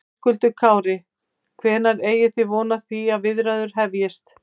Höskuldur Kári: Hvenær eigi þið von á því að viðræður hefjist?